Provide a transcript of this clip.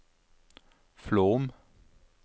Flåm